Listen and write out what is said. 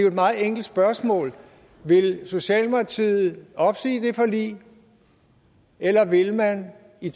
et meget enkelt spørgsmål vil socialdemokratiet opsige det forlig eller vil man i